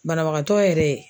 Banabagatɔ yɛrɛ